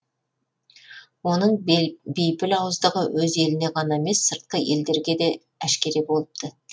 оның бейпіл ауыздығы өз еліне ғана емес сыртқы елдерге де әшкере болыпты